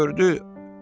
Gördü: